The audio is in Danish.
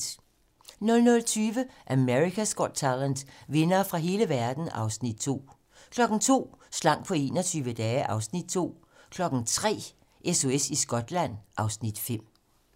00:20: America's Got Talent - vindere fra hele verden (Afs. 2) 02:00: Slank på 21 dage (Afs. 2) 03:00: SOS i Skotland (Afs. 5)